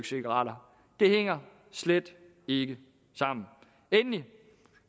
cigaretter det hænger slet ikke sammen endelig